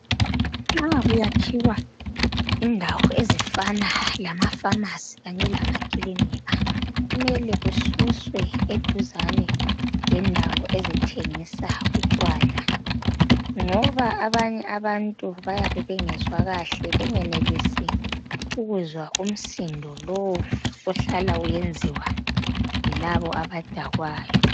Nxa kuyakhiwa indawo ezifana lama famasi lamaklinika kumele kususwe eduzana lendawo ezithengisa utshwala ngoba abanye abantu bayabe bengezwa kwahle bengakwanisi ukuzwa umsindo lowo ohlala usenziwa yilaba abadakwayo